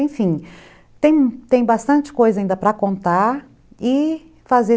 Enfim, tem tem bastante coisa ainda para contar e fazer